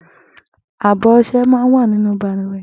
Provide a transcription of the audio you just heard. Àbọ ọṣẹ̀ mà n wà ninú bàlùwẹ̀